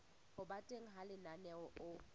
ho ba teng ha lenaneo